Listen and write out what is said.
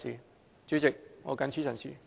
代理主席，我謹此陳辭。